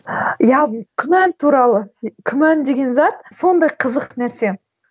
иә күмән туралы күмән деген зат сондай қызық нәрсе